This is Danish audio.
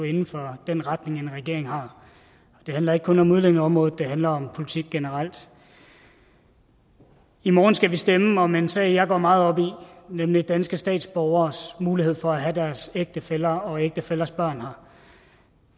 inde for den retning en regering har og det handler ikke kun om udlændingeområdet det handler om politik generelt i morgen skal vi stemme om en sag jeg går meget op i nemlig danske statsborgeres mulighed for at have deres ægtefæller og ægtefællers børn her